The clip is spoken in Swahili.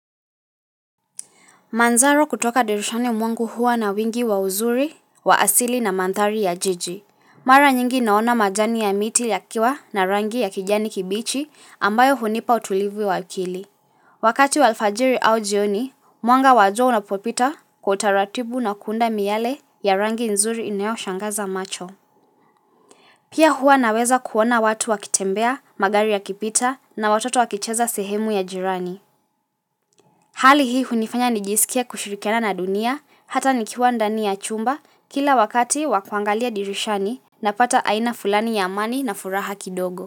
Manzaro kutoka dirishani mwangu hua na wingi wa uzuri, wa asili na mandhari ya jiji. Mara nyingi naona majani ya miti yakiwa na rangi ya kijani kibichi ambayo hunipa utulivu wa akili. Wakati wa alfajiri au jioni, mwanga wazo unapopita kutaratibu na kuunda miale ya rangi nzuri inayo shangaza macho. Pia hua naweza kuona watu wakitembea, magari yakipita na watoto wakicheza sehemu ya jirani. Hali hii hunifanya nijisikie kushirikiana na dunia, hata nikiwa ndani ya chumba kila wakati wa kuangalia dirishani napata aina fulani ya amani na furaha kidogo.